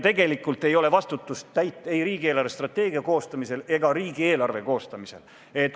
Tegelikult ei ole täit vastutust ei riigi eelarvestrateegia koostamisel ega riigieelarve koostamisel.